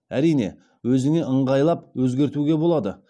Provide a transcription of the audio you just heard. әрине өзіңе ыңғайлап өзгертуге болады